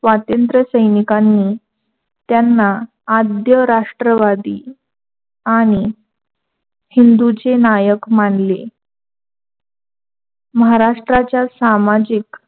स्वतंत्र सैनिकांनी त्यांना आद्यराष्ट्रवादी आणि हिंदूचे नानक मानले. महाराष्ट्रच्या सामाजिक